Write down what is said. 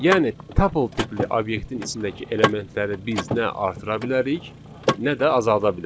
Yəni tuple tipli obyektin içindəki elementləri biz nə artıra bilərik, nə də azalda bilərik.